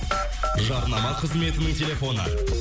жарнама қызметінің телефоны